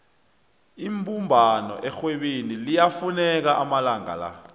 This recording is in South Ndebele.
ibumbano erhwebeni liyafuneka amalanga la